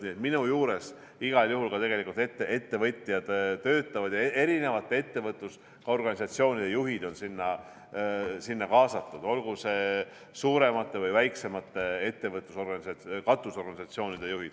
Nii et minu juures igal juhul ka ettevõtjad töötavad ja erinevate ettevõtlusorganisatsioonide juhid on sinna kaasatud, olgu need suuremate või väiksemate katusorganisatsioonide juhid.